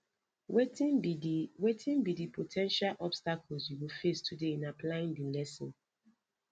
wetin be di wetin be di po ten tial obstacles you go face today in applying di lesson